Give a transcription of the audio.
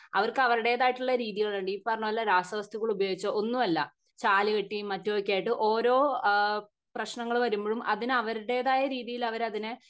അവർക്ക് അവരുടേതായിട്ടുള്ള രീതികളുണ്ട് ഈ പറിഞ്ഞ പോലെ രാസവസ്തുക്കൾ ഉപയോഗിച്ച ഒന്നും അല്ല ചാലുകെട്ടിം മറ്റും ഒക്കെ ആയിട്ട് ഓരോ അഹ് പ്രശ്നങ്ങള് വരുമ്പോഴും അതിനെ അവരുടേതായ രീതിയിൽ അവർ അതിനെ